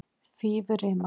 Fífurima